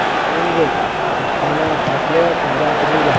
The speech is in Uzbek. Shuningdek, yukxona shakli o‘zgartirilgan.